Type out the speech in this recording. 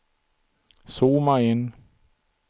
zooma in